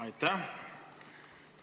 Aitäh!